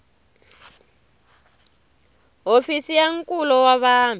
hofisi ya nkulo wa vanhu